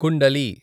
kundali